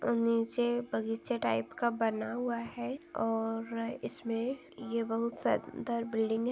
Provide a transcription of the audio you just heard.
अ नीचे बगीचे टाइप का बना हुआ है और इसमे ये बहुत सुंदर बिल्डिंग --